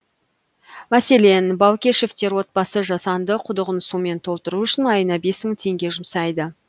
мәселен баукешевтер отбасы жасанды құдығын сумен толтыру үшін айына бес мың теңге жұмсайды